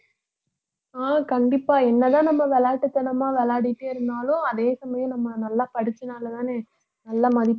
ஆஹ் கண்டிப்பா என்னதான் நம்ம விளையாட்டுத்தனமா விளையாடிட்டே இருந்தாலும் அதே சமயம் நம்ம நல்லா படிச்சனாலதானே நல்ல மதிப்பெண்